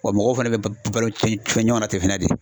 Wa mɔgɔw fɛnɛ bɛ balo fɛn fɛn ɲɔ na ten fana de.